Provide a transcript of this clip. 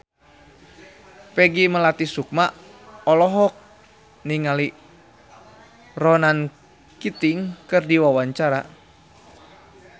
Peggy Melati Sukma olohok ningali Ronan Keating keur diwawancara